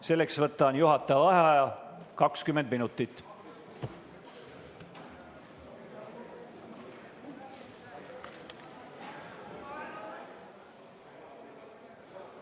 Selleks võtan juhataja vaheaja 20 minutit.